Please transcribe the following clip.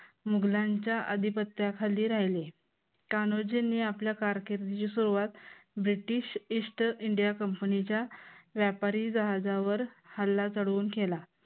मुघलांच्या अधिपत्याखाली राहिले. कान्होजींनी आपल्या कारकिर्दीची सुरुवात british east india company च्या व्यापारी जहाजावर हल्ला चढवून केला.